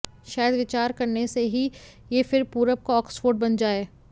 शायद विचार करने से ही यह फिर पूरब का ऑक्सफोर्ड बन जाए